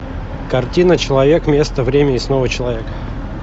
картина человек место время и снова человек